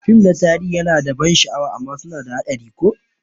Fim ɗin tarihi yana da ban sha'awa amma suna da haɗari ko?